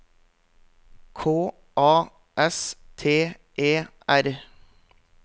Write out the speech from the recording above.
K A S T E R